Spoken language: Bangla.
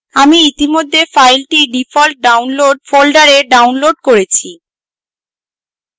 আমি ইতিমধ্যে file default download folder downloads করেছি